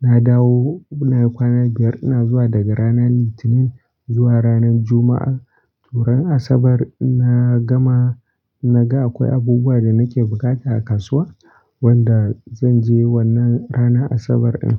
na dawo nayi kwana biyar. Ina zuwa daga rana Litinin zuwa ranan Juma'a. Ran Asabar na gama naga akwai abubuwa da nake bukata a kasuwa wanda zan je wannan ranar Asabar ɗin.